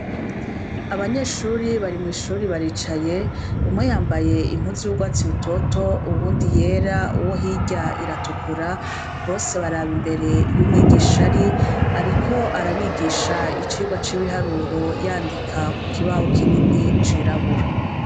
Abanyeshure bari mwi shuri baricaye , umwe yambaye impuzu y' ugwatsi gitoto uwundi yera uwo hirya iratukura bose baraba imbere iyo umwigisha ari ariko arabigisha icigwa c' ibiharuro yandika ku kibaho kinini cirabura.